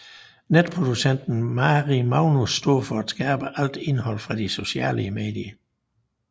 Netproducenten Mari Magnus står for at skabe alt indhold fra de sociale medier